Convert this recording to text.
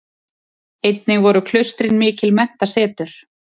Einnig voru klaustrin mikil menntasetur.